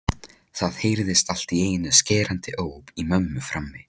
Það heyrðist allt í einu skerandi óp í mömmu frammi.